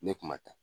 Ne kuma ta